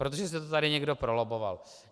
Protože si to tady někdo prolobboval.